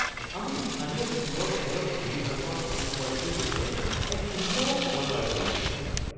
আমি স্থানীয় কুকুৰৰ কেনেলত খেলি ভাল পোৱা কুকুৰ পোৱালিটোৰ সৈতে এক সুন্দৰ সময় পাৰ কৰিছিলোঁ।